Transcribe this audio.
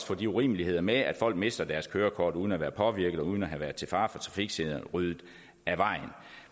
få de urimeligheder med at folk mister deres kørekort uden at være påvirket og uden at have været til fare for trafiksikkerheden ryddet af vejen